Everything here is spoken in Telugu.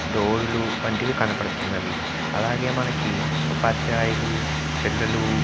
డోర్ లు వంటివి కనబడుతున్నవి అలాగే మనకి ఉపాధ్యాయులు పిల్లలు --